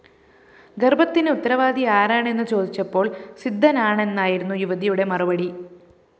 ഗര്‍ഭത്തിന് ഉത്തരവാദി ആരാണെന്നു ചോദിച്ചപ്പോള്‍ സിദ്ധനാണെന്നായിരുന്നു യുവതിയുടെ മറുപടി